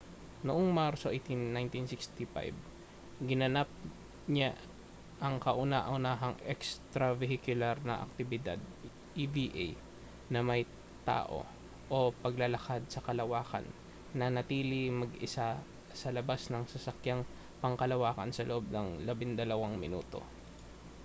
noong marso 18 1965 ginanap niya ang kauna-unahang extravehicular na aktibidad eva na may tao o paglalakad sa kalawakan nanatiling mag-isa sa labas ng sasakyang pangkalawakan sa loob ng labindalawang minuto